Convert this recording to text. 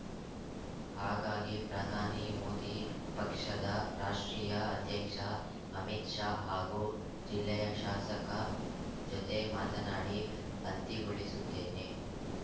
ಹಾಗಾಗಿ ಪ್ರಧಾನಿ ಮೋದಿ ಪಕ್ಷದ ರಾಷ್ಟ್ರೀಯ ಅಧ್ಯಕ್ಷ ಅಮಿತ್‌ ಶಾ ಹಾಗೂ ಜಿಲ್ಲೆಯ ಶಾಸಕ ಜೊತೆ ಮಾತನಾಡಿ ಅಂತಿಗೊಳಿಸುತ್ತೇನೆ